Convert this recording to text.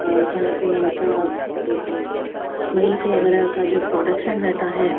और जहां पे इनका जैसे मिल्क वगैरा का जो प्रोडक्शन रहता है।